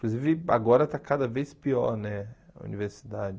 Inclusive, agora está cada vez pior, né, a universidade.